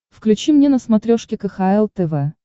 включи мне на смотрешке кхл тв